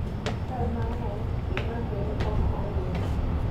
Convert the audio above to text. e chal mang'eny, gima kele ok ong'ere